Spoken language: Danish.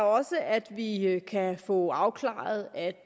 også at vi kan få afklaret at